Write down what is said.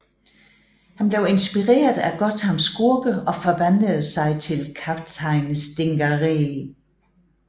Han blev inspireret af Gothams skurke og forvandlede sig selv til Kaptajn Stingaree